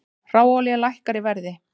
Hráolía lækkar í verði